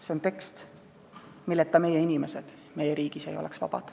See on tekst, milleta meie inimesed meie riigis ei oleks vabad.